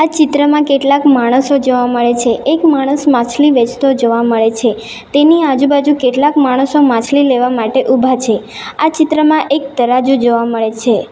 ચિત્રમાં કેટલાક માણસો જોવા મળે છે એક માણસ માછલી વેચતો જોવા મળે છે તેની આજુબાજુ કેટલાક માણસો માછલી લેવા માટે ઊભા છે આ ચિત્રમાં એક તરાજો જોવા મળે છે.